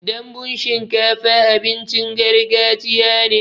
Danbun shinkafa abincin gargajiya ne.